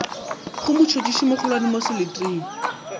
go motšhotšhisi mogolwane mo seleteng